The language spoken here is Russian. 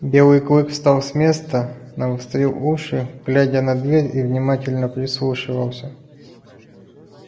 белый клык встал с места навострил уши глядя на дверь и внимательно прислушивался